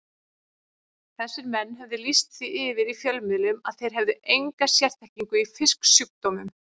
Þessir menn höfðu lýst því yfir í fjölmiðlum að þeir hefðu enga sérþekkingu í fisksjúkdómum.